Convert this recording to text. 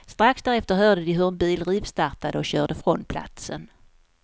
Strax därefter hörde de hur en bil rivstartade och körde från platsen.